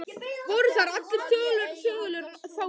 Voru þar allir þögulir þá nótt.